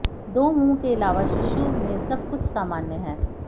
दो मुंह के अलावा शिशु में सब कुछ सामान्य है